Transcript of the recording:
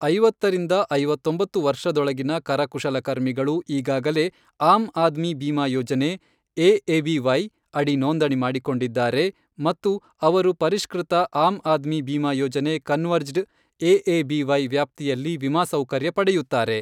ಐವತ್ತರಿಂದ ಐವತ್ತೊಂಬತ್ತು ವರ್ಷದೊಳಗಿನ ಕರಕುಶಲಕರ್ಮಿಗಳು, ಈಗಾಗಲೇ ಆಮ್ ಆದ್ಮಿ ಬಿಮಾ ಯೋಜನೆ, ಎಎಬಿವೈ ಅಡಿ ನೋಂದಣಿ ಮಾಡಿಕೊಂಡಿದ್ದಾರೆ ಮತ್ತು ಅವರು ಪರಿಷ್ಕೃತ ಆಮ್ ಆದ್ಮಿ ಬಿಮಾ ಯೋಜನೆ ಕನ್ವರ್ಜಡ್ ಎಎಬಿವೈ ವ್ಯಾಪ್ತಿಯಲ್ಲಿ ವಿಮಾ ಸೌಕರ್ಯ ಪಡೆಯುತ್ತಾರೆ.